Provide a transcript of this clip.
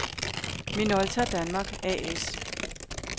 Minolta Danmark A/S